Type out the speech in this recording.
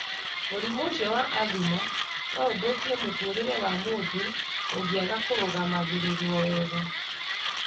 Mũrimũ ũcio wa asthma no ũthũkie mũtũũrĩre wa mũndũ ũngĩaga kũrũgamagĩrĩrũo wega.